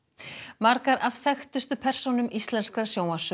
margar af þekktustu persónum íslenskrar